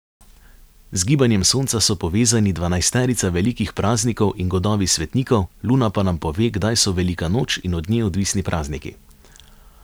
Z gibanjem sonca so povezani dvanajsterica velikih praznikov in godovi svetnikov, luna pa nam pove, kdaj so velika noč in od nje odvisni prazniki.